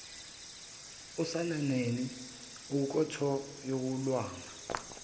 osaneni olunenkotho yolwanga